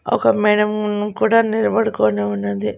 ఒక మేడం కూడా నిలబడుకొని ఉన్నది.